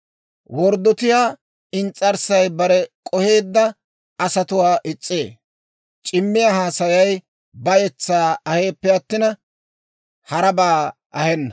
Worddotiyaa ins's'arssay bare k'oheedda asatuwaa is's'ee; c'imiyaa haasayay bayetsaa aheeppe attin, harabaa ahenna.